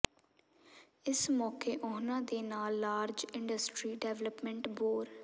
ਇਸ ਮੌਕੇ ਉਨ੍ਹਾਂ ਦੇ ਨਾਲ ਲਾਰਜ ਇੰਡਸਟਰੀ ਡਿਵੈਲਪਮੈਂਟ ਬੋਰ